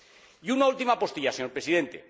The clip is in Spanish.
Y una última postilla, señor Presidente.